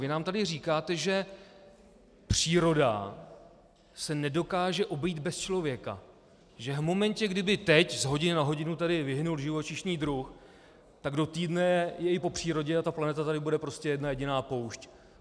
Vy nám tady říkáte, že příroda se nedokáže obejít bez člověka, že v momentě, kdyby teď, z hodiny na hodinu, tady vyhynul živočišný druh, tak do týdne je i po přírodě a ta planeta tady bude prostě jedna jediná poušť.